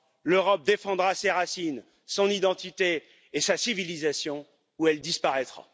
L'Europe défendra ses racines, son identité et sa civilisation ou elle disparaîtra.